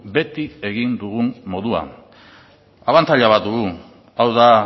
beti egin dugun moduan abantaila bat dugu hau da